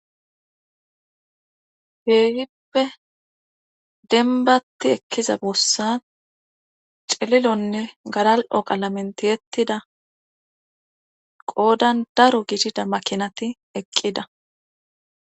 Keehippe denbatti ekkiza boossan celilonne garal7o qalamenti hettida qoodan daro gidida makinati eqqida